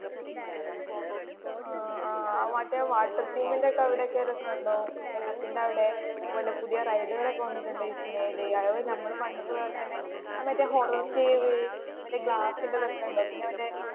ആ ആ മറ്റേ വാട്ടർ തീമിന്റെ അവിടെ ഒക്കേ രസം ഉണ്ടോ വെള്ളത്തിന്റെ അവിടെ അതുപോലെ പുതിയ റൈഡുകൾ ഒക്കേ വന്നിട്ടുണ്ടോവിസ്മയിൽ അത്പോലെ തന്നേ നമ്മടെ പണ്ടത്തെ പോലെ തന്നേ മറ്റേ ഹൊറർ കാവ് മറ്റേ ഗ്ളാസ്സ്ന്റെ ഒക്കേ ഉണ്ടോ പിന്നേ മറ്റേ